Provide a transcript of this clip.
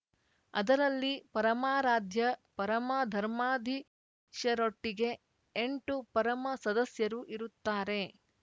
ಅದರಲ್ಲಿ ಪರಮಾರಾಧ್ಯ ಪರಮಧರ್ಮಾಧೀಶರೊಟ್ಟಿಗೆ ಎಂಟು ಪರಮ ಸದಸ್ಯರು ಇರುತ್ತಾರೆ